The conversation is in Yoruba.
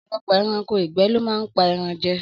Ọ̀pọ̀lọpọ̀ ẹranko ìgbẹ́ lo máa ń pa ẹran jẹ